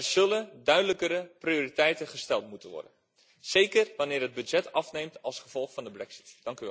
Er zullen duidelijkere prioriteiten gesteld moeten worden, zeker wanneer het budget afneemt als gevolg van de brexit.